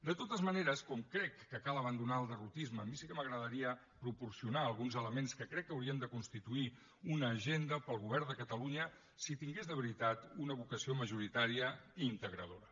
de totes maneres com que crec que cal abandonar el derrotisme a mi sí que m’agradaria proporcionar alguns elements que crec que haurien de constituir una agenda per al govern de catalunya si tingués de veritat una vocació majoritària i integradora